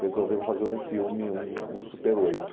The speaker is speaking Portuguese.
resolveu fazer um filme, um super oito.